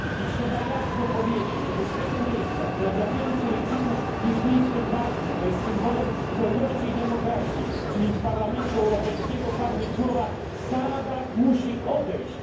Trzeba to jasno powiedzieć, żeby z tego miejsca które dla wielu Syryjczyków jest miejscem ważnym, bo jest symbolem wolności i demokracji czyli z Parlamentu Europejskiego, padły słowa Assad musi odejść.